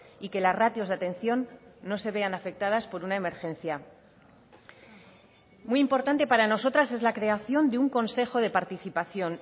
y que las ratios de atención no se vean afectadas por una emergencia muy importante para nosotras es la creación de un consejo de participación